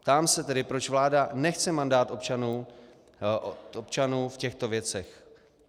Ptám se tedy, proč vláda nechce mandát občanů v těchto věcech.